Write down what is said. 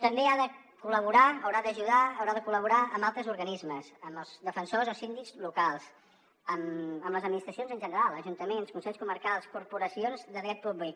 també ha de col·laborar haurà d’ajudar haurà de col·laborar amb altres organismes amb els defensors o síndics locals amb les administracions en general ajuntaments consells comarcals corporacions de dret públic